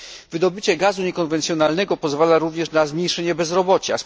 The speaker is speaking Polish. Wydobycie gazu niekonwencjonalnego pozwala również na zmniejszenie bezrobocia.